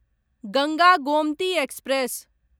Ganga Gomti express